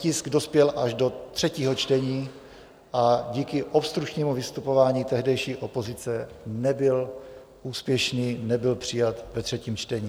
Tisk dospěl až do třetího čtení a díky obstrukčnímu vystupování tehdejší opozice nebyl úspěšný, nebyl přijat ve třetím čtení.